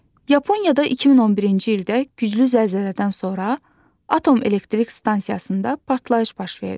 Yaponiyada 2011-ci ildə güclü zəlzələdən sonra atom elektrik stansiyasında partlayış baş verdi.